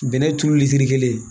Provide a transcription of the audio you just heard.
Bɛnɛ turu litiri kelen ye